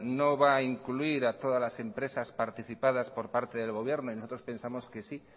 no va a incluir a todas las empresas participadas por parte del gobierno y nosotros pensamos que sí